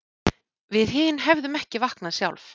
Við hin hefðum ekki vaknað sjálf